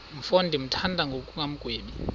mfo ndimthanda ngokungagwebi